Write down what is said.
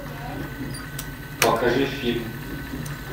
покажи фильм